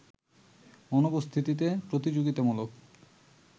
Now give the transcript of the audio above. অনুপস্থিতিতে প্রতিযোগিতামূলক